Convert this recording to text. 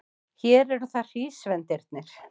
Hér eru það hrísvendirnir.